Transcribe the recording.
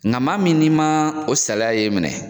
Nga maa min n'i ma o saliya ye minɛ